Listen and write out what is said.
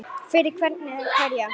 Fyrir hvern eða hverja?